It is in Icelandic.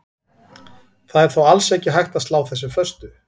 Það er þó alls ekki hægt að slá þessu föstu.